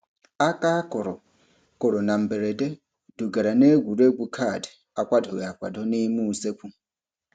Aka a kụrụ kụrụ na mberede dugara n'egwuregwu kaadị akwadoghị akwado n'ime usekwu.